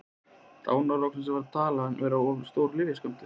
Dánarorsök var því talin vera of stór lyfjaskammtur.